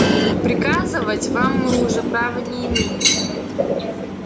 приказывать вам мы уже права не имеем